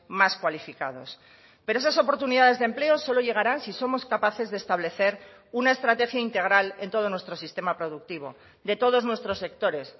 más cualificados pero esas oportunidades de empleo solo llegarán si somos capaces de establecer una estrategia integral en todo nuestro sistema productivo de todos nuestros sectores